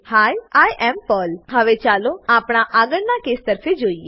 he I am Pearl હવે ચાલો આપણા આગળના કેસ તરફે જોઈએ